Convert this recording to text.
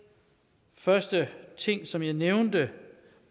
første ting som jeg nævnte